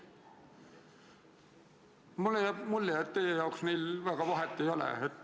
Mulle jääb mulje, et teie jaoks neil väga vahet ei ole.